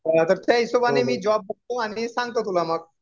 तर आता त्या मी हिशोबाने जॉब बघतो. आणि सांगतो तुला मग.